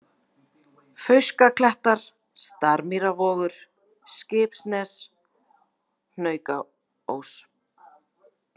Fauskaklettar, Starmýrarvogur, Skipsnes, Hnaukaós